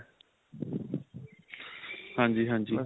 ਹਾਂਜੀ ਹਾਂਜੀ.